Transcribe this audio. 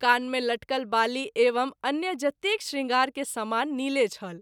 कान मे लटकल बाली एवं अन्य जतेक शृंगार के समान नीले छल।